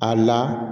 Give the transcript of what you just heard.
A la